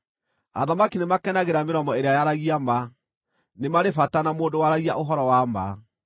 Athamaki nĩmakenagĩra mĩromo ĩrĩa yaragia ma; nĩ marĩ bata na mũndũ waragia ũhoro wa ma.